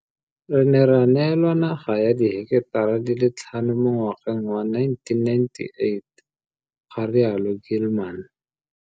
Re ne ra neelwa naga ya diheketara di le tlhano mo ngwageng wa 1998, ga rialo Gilman.